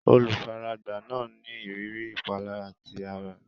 Olùfaragbá náà ní ìrírí ìpalára ti ara.